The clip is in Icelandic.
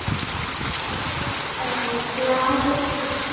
Þá er ég glaður.